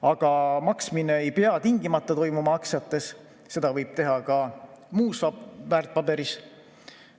Aga maksmine ei pea tingimata toimuma aktsiates, seda võib teha ka muudes väärtpaberites.